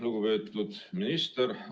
Lugupeetud minister!